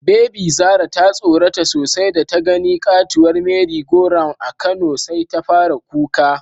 Bebi Zara ta tsorata sosai datagani katuwar "merry go round" a Kano, sai ta fara kuka.